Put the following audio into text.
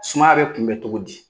Sumaya bɛ kunbɛ togo di?